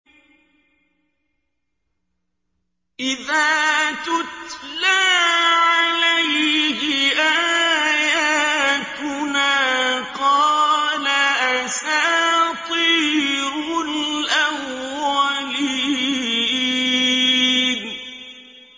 إِذَا تُتْلَىٰ عَلَيْهِ آيَاتُنَا قَالَ أَسَاطِيرُ الْأَوَّلِينَ